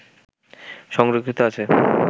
সংরক্ষিত আছে